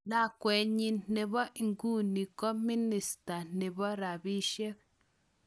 lakwenyi nepo iguni ko minister nepo rapishek